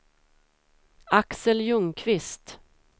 Axel Ljungqvist